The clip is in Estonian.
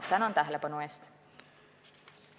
Tänan tähelepanu eest!